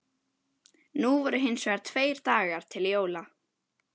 Nú voru hins vegar tveir dagar til jóla.